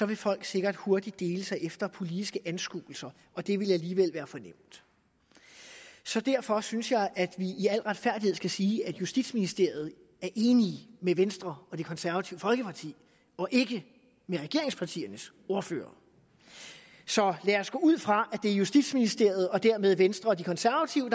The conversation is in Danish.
vil folk sikkert hurtigt dele sig efter politiske anskuelser og det ville alligevel være for nemt så derfor synes jeg at vi i al retfærdighed skal sige at justitsministeriet er enig med venstre og det konservative folkeparti og ikke med regeringspartiernes ordførere så lad os gå ud fra at det er justitsministeriet og dermed venstre og de konservative